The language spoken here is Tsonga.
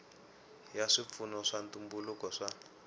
ya swipfuno swa ntumbuluko swa